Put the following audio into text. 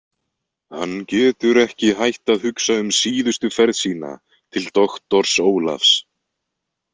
Hann getur ekki hætt að hugsa um síðustu ferð sína til doktors Ólafs.